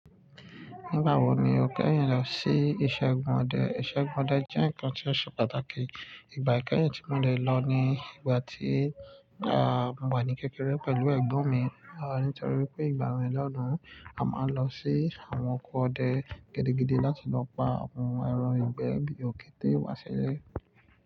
Nígbà wo ni o kẹ́yìn lọ sí iṣẹ́ igbọ̀n ọdẹ? Iṣẹ́ igbọ̀n ọdẹ jẹ́ ǹnkan tí ó ṣe pàtàkì. Ìgbà kẹ́yìn tí mo dè lọ ni ìgbà tí, à, mo wà ní kékeré pẹ̀lú ẹ̀gbọ́n mi. À nítorí wipé ìgbà wo ni lọ́dún, a máa n lọ sí àwọn oko ọdẹ gidigidi láti lọ pa àwọn ẹran ìgbẹ́ bí i òkété, wá ṣilẹ.